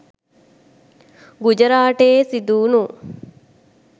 ගුජරාටයේ සිදුවුණු